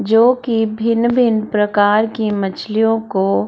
जो की भिन्न-भिन्न प्रकार की मछलियों को --